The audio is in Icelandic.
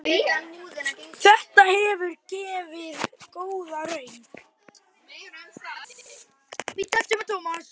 Þetta hefur gefið góða raun.